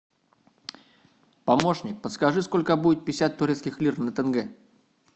помощник подскажи сколько будет пятьдесят турецких лир на тенге